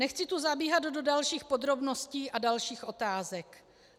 Nechci tu zabíhat do dalších podrobností a dalších otázek.